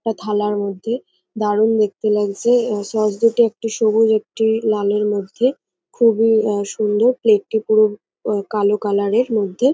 একটা থালার মধ্যে দারুন দেখতে লাগছে এবার সস দুটো একটি সবুজ একটি লালের মধ্যে খুবই অম সুন্দর প্লেট - টি পুরো অম কালো কালার -এর মধ্যে।